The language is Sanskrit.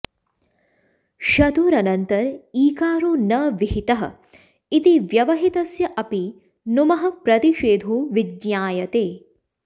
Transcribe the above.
शतुरनन्तर ईकारो न विहितः इति व्यवहितस्य अपि नुमः प्रतिषेधो विज्ञायते